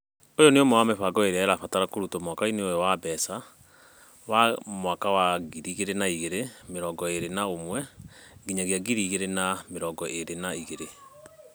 Ũyũ nĩ ũmwe wa mĩbango ĩrĩa ĩrabatara kũrutwo mwaka-inĩ ũyũ wa mbeca (mwaka wa ngiri igĩrĩ na mĩrongo ĩĩrĩ na ũmwe - ngiri igĩrĩ na mĩrongo ĩĩrĩ na igĩrĩ).